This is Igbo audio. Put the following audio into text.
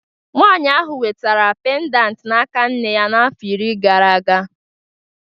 Nwanyị ahụ nwetara pendant n'aka nne ya afọ iri gara aga